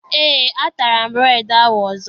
Eé, atara m bureedi ahụ ọzọ.